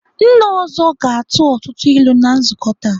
Nna ọzọ ga-atụ ọtụtụ ilu na nzukọ taa.